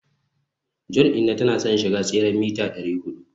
johns inna tana son ya shiga tseren mita dari hudu